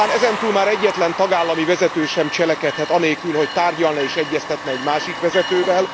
Talán ezentúl már egyetlen tagállami vezető sem cselekedhet anélkül, hogy tárgyalna és egyeztetne egy másik vezetővel.